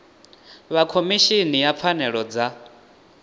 vha khomishini ya pfanelo dza